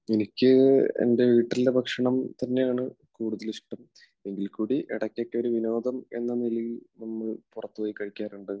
എനിക്ക് എൻറെ വീട്ടിലെ ഭക്ഷണം തന്നെയാണ് കൂടുതൽ ഇഷ്ടം. എങ്കിൽക്കൂടി ഇടക്കൊക്കെ ഒരു വിനോദം എന്ന രീതിയിൽ നമ്മൾ പുറത്തുപോയി കഴിക്കാറുണ്ട്.